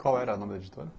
Qual era o nome da editora?